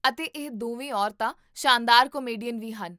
ਅਤੇ ਇਹ ਦੋਵੇਂ ਔਰਤਾਂ ਸ਼ਾਨਦਾਰ ਕਾਮੇਡੀਅਨ ਵੀ ਹਨ